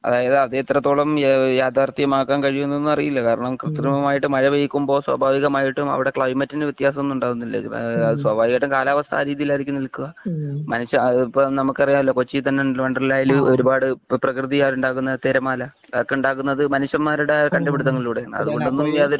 അതായിതു അത് എത്രത്തോളം യഥാർഥ്യം ആക്കാൻ കഴിയും എന്ന് അറിയില്ല കാരണം കൃത്രിമമായി മഴ പെയ്യിക്കുമ്പോൾ സ്വാഭാവികമായിട്ടും അവിടെ കളി ക്ലൈമറ്റിന് വത്യാസം ഒന്നും ഉണ്ടാകുന്നില്ല സ്വാഭാവികം ആയിട്ടും കാലാവസ്ഥ ആ രീതിയിൽ ആയിരിക്കും നിലയ്ക്കുക മനുഷ്യ നമുക്കറിയാമല്ലോ കൊച്ചിയിൽ തന്നെ ഉണ്ടല്ലോ വൻഡെർലയില് ഒരുപാട് പ്രകൃതിയാ ൽ ഉണ്ടാക്കുന്ന തിരമാല അതൊക്കെ ഉണ്ടാക്കുന്നത് മനുഷ്യൻ മാരുടെ കണ്ടുപിടിത്തങ്ങളിലൂടെ ആണ് അതു കൊണ്ട് ഒന്നും യാതൊരു